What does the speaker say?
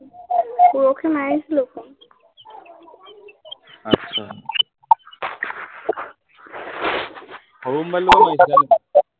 সৰু মবাইলটোৰ পৰা গৈছিলে নি